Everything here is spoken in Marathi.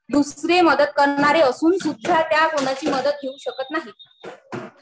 दुसरे मदत करणारे असून सुद्धा त्या कुणाची मदत घेऊ शकत नाही.